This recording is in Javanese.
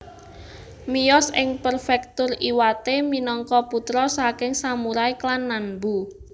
Miyos ing Prefektur Iwate minangka putra saking samurai klan Nanbu